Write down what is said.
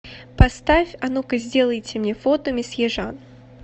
поставь а ну ка сделайте мне фото месье жан